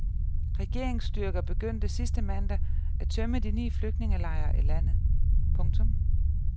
Regeringsstyrker begyndte sidste mandag at tømme de ni flygtningelejre i landet. punktum